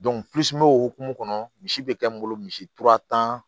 o hokumu kɔnɔ misi bɛ kɛ n bolo misi tura tan